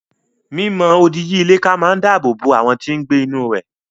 Mi mọ odi yí ilé ká máa dáàbò bo àwọn tí n gbé inú rẹ̀